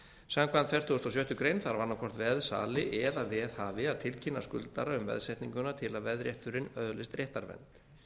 samkvæmt fertugustu og sjöttu grein þarf annað hvort veðsali eða veðhafi að tilkynna skuldara um veðsetninguna til að veðrétturinn öðlist réttarvernd